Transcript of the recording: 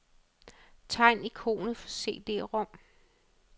Tegn ikonet for cd-rom.